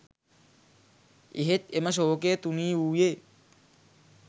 එහෙත් එම ශෝකය තුනීවූයේ